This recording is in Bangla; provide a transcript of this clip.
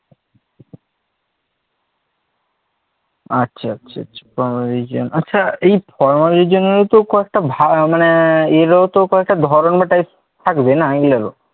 আচ্ছা আচ্ছা আচ্ছা, formal region, আচ্ছা এই formal region তো কয়েকটা কয়েকটা ভাগ মানে এরও তো কয়েকটা ধরণ বা Type থাকবে, না এগুলোর